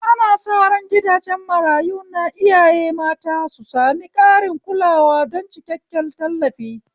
Ana sa ran gidajen marayu na iyaye mata su sami ƙarin kulawa don cikakken tallafi.